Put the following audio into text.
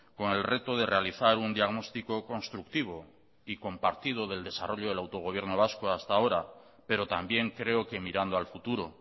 con el reto de realizar un diagnóstico constructivo y compartido del desarrollo del autogobierno vasco hasta ahora pero también creo que mirando al futuro